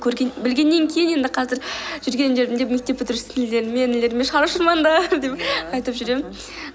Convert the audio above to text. көрген білгеннен кейін енді қазір жүрген жерімде мектеп інілеріме шар ұшырмаңдар ия деп айтып жүремін мхм